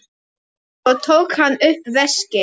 Svo tók hann upp veskið.